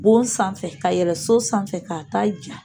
Bon sanfɛ ka yɛlɛ so sanfɛ k'a a ja